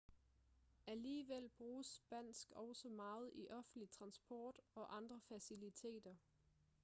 alligevel bruges spansk også meget i offentlig transport og andre faciliteter